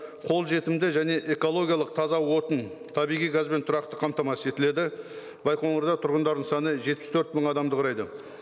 қолжетімді және экологиялық таза отын табиғи газбен тұрақты қамтамасыз етіледі байқоңырда тұрғындардың саны жетпіс төрт мың адамды құрайды